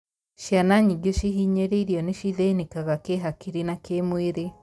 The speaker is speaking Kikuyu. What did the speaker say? Ciana nyingĩ cihinyĩrĩirio nĩ cithĩnĩkaga kĩhakiri na kĩmwĩrĩ.